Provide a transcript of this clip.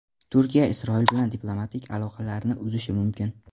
Turkiya Isroil bilan diplomatik aloqalarni uzishi mumkin.